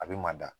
A bɛ manda